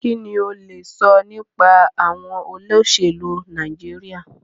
Kínní o lè sọ nípa àwọn olóṣèlú Nàìjíríà?